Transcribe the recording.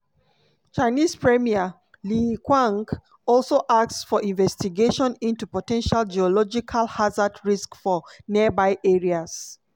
chinese premier li qiang also ask for investigation into po ten tial geological hazard risks for nearby areas.